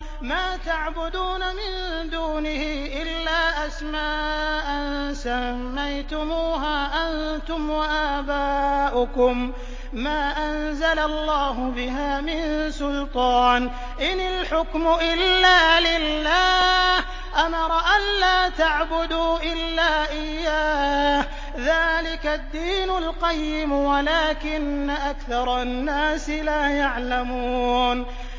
مَا تَعْبُدُونَ مِن دُونِهِ إِلَّا أَسْمَاءً سَمَّيْتُمُوهَا أَنتُمْ وَآبَاؤُكُم مَّا أَنزَلَ اللَّهُ بِهَا مِن سُلْطَانٍ ۚ إِنِ الْحُكْمُ إِلَّا لِلَّهِ ۚ أَمَرَ أَلَّا تَعْبُدُوا إِلَّا إِيَّاهُ ۚ ذَٰلِكَ الدِّينُ الْقَيِّمُ وَلَٰكِنَّ أَكْثَرَ النَّاسِ لَا يَعْلَمُونَ